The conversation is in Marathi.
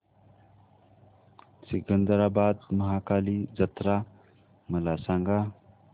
सिकंदराबाद महाकाली जत्रा मला सांगा